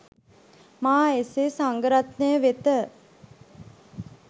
මා එසේ සංඝරත්නය වෙත